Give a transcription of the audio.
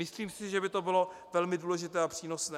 Myslím si, že by to bylo velmi důležité a přínosné.